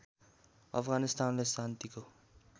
अफगानिस्तानले शान्तिको